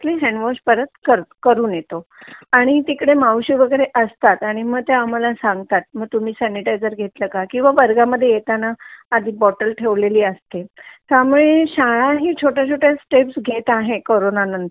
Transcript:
handwash परत करून येतो आणि तिकडे मावशी वगैरे असतात आणि मग ते आम्हाला सांगतात तुम्ही सनिटईजेर घेतला का किंवा वर्गामध्ये येताना आधी बॉटल ठेवलेली असते त्यामुळे शाळा ही छोट्या छोट्या स्टेप्स घेत आहे करोना